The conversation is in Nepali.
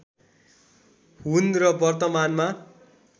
हुन् र वर्तमानमा